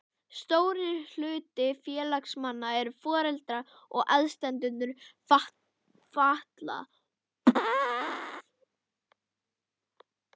Stór hluti félagsmanna eru foreldrar og aðstandendur fatlaðra.